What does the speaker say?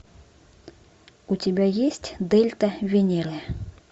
у тебя есть дельта венеры